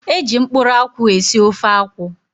Eji mkpụrụ akwụ esị ofe akwụ.